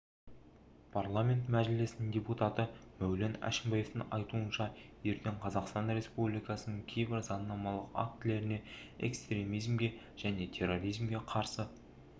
парламенті мәжілісінің депутаты мәулен әшімбаевтың айтуынша ертең қазақстан республикасының кейбір заңнамалық актілеріне экстремизмге және терроризмге қарсы